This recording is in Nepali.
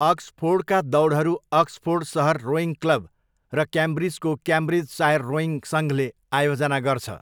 अक्सफोर्डका दौडहरू अक्सफोर्ड सहर रोइङ क्लब र क्याम्ब्रिजको क्याम्ब्रिजसायर रोइङ सङ्घले आयोजना गर्छ।